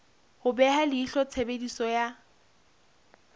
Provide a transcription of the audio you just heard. ho beha leihlo tshebediso ya